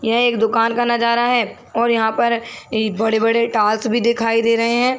यह एक दुकान का नजारा है और यहाँ पर ए बड़े - बड़े टॉवर्स भी दिखाई दे रहे है।